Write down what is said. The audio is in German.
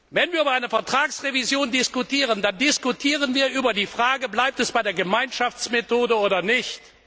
Wenn wir über eine Vertragsrevision diskutieren, dann diskutieren wir über die Frage Bleibt es bei der Gemeinschaftsmethode oder nicht?